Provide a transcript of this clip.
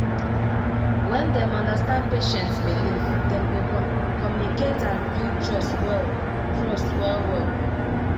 when dem understand patient's believe dem go communicate and build trust well trust well well